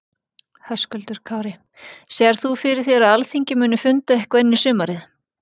Höskuldur Kári: Sérð þú fyrir þér að Alþingi muni funda eitthvað inn í sumarið?